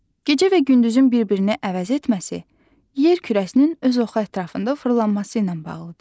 Gecə və gündüzün bir-birini əvəz etməsi yer kürəsinin öz oxu ətrafında fırlanması ilə bağlıdır.